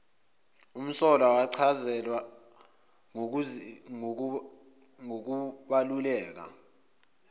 umsolwa wachazelwa ngokubaluleka